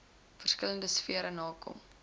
verskillende sfere nakom